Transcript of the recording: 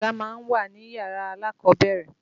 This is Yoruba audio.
Àga má ń wà níyàrá alákọ̀ọ́bẹ̀rẹ̀.